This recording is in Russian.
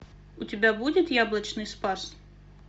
у тебя будет яблочный спас